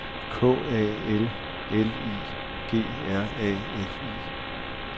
K A L L I G R A F I